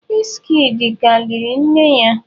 Wizkid ka liri nne ya.